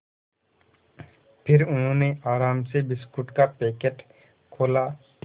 फिर उन्होंने आराम से बिस्कुट का पैकेट खोला